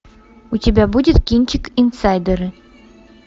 у тебя будет кинчик инсайдеры